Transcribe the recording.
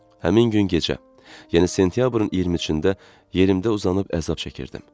Həmin gün gecə, yəni sentyabrın 23-də yerimdə uzanıb əzab çəkirdim.